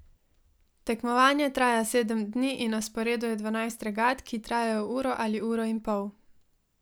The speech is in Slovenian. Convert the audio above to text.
Tekmovanje traja sedem dni in na sporedu je dvanajst regat, ki trajajo uro ali uro in pol.